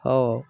Ɔ